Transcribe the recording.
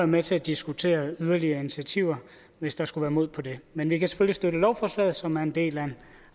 med til at diskutere yderligere initiativer hvis der skulle være mod på det men vi kan støtte dette lovforslag som er en del af en